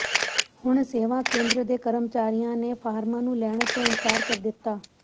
ਹੁਣ ਸੇਵਾ ਕੇਂਦਰ ਦੇ ਕਰਮਚਾਰੀਆਂ ਨੇ ਫਾਰਮਾਂ ਨੂੰ ਲੈਣ ਤੋਂ ਇਨਕਾਰ ਕਰ ਦਿੱਤਾ